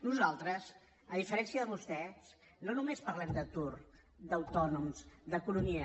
nosaltres a diferència de vostès no només parlem d’atur d’autònoms d’economia